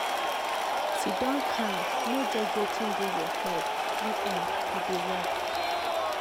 siddon calm no judge wetin dey your head u m e dey work.